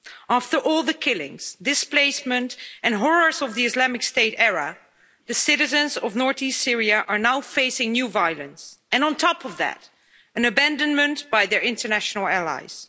After all the killings, displacement and horrors of the Islamic State era, the citizens of north east Syria are now facing new violence and, on top of that, abandonment by their international allies.